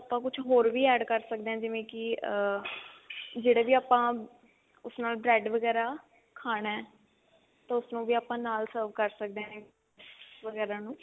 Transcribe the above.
ਆਪਾਂ ਕੁਝ ਹੋਰ ਵੀ add ਕਰ ਸਕਦੇ ਹਾਂ ਜਿਵੇਂ ਕੀ ਅਹ ਜਿਹੜੇ ਵੀ ਆਪਾਂ ਉਸ ਨਾਲ bread ਵਗੇਰਾ ਖਾਣਾ ਤਾਂ ਉਸਨੂੰ ਵੀ ਆਪਾਂ ਨਾਲ serve ਕਰ ਸਕਦੇ ਹਾਂ ਵਗੇਰਾ ਨੂੰ